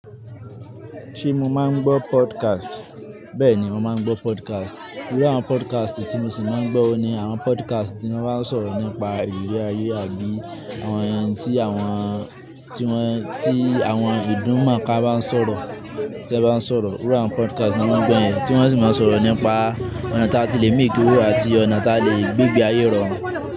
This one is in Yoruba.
Ṣé mo máa ń gbọ́ podcast? Bẹ́ẹ̀ ni, mo máa ń gbọ́ podcast. Irú àwọn podcast tí mo sì máa ń gbọ́ ni àwọn podcast tí wọ́n bá ń sọ̀rọ̀ nípa ìrírí ayé àbí àwọn ẹni tí àwọn tí wọ́n tí àwọn ìdúnmọ̀ ká bá ń sọ̀rọ̀, tí won bá ń sọ̀rọ̀. Irú àwọn podcast ti mo máa ń gbọ́ yẹn, tí wọ́n sì máa ń sọ̀rọ̀ nípa ọ̀nà tí a ti lè máìkí owo àti ọ̀nà tí a lè gbé igbe ayé irọrùn.